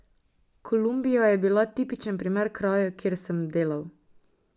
Kolumbija je bila tipičen primer krajev, kjer sem delal.